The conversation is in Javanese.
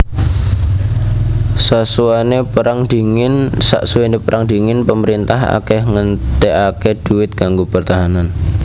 Sasuwené Perang Dingin pamarintah akèh ngentèkaké duit kanggo pertahanan